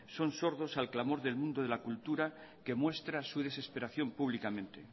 son sordos al clamor del mundo de la cultura que muestra su desesperación públicamente